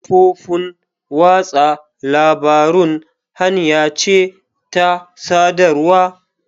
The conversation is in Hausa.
Kafofin watsa labarun hanya ce ta sadarwa.